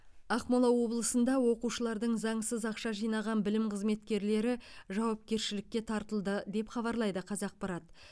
ақмола облысында оқушылардың заңсыз ақша жинаған білім қызметкерлері жауапкершілікке тартылды деп хабарлайды қазақпарат